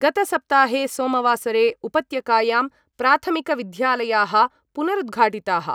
गतसप्ताहे सोमवासरे उपत्यकायां प्राथमिकविद्यालयाः पुनरुद्घाटिताः।